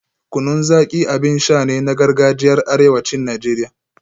Kunun Zaki abin sha ne na gargajiyar arewacin Najeriya